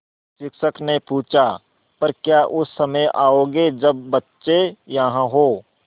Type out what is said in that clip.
शिक्षक ने पूछा पर क्या उस समय आओगे जब बच्चे यहाँ हों